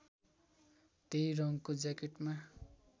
त्यही रङको ज्याकेटमा